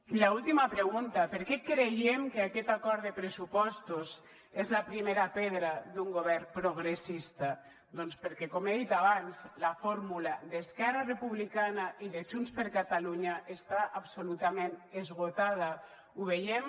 i l’última pregunta per què creiem que aquest acord de pressupostos és la primera pedra d’un govern progressista doncs perquè com he dit abans la fórmula d’esquerra republicana i de junts per catalunya està absolutament esgotada ho veiem